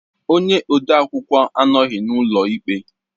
Onye ode akwụkwọ anọghị n'ụlọ ikpe